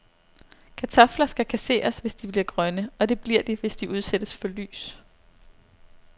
Kartofler skal kasseres, hvis de bliver grønne, og det bliver de, hvis de udsættes for lys.